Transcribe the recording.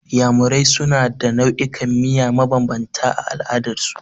Iyamurai suna da nau'ikan miya mabambanta a al'adar su.